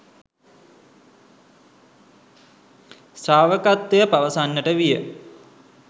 ශ්‍රාවකත්වය පවසන්නට විය